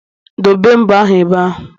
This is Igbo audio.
Dobee mbo ahụ ebe ahụ